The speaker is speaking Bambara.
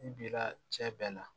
I bi la cɛ bɛɛ la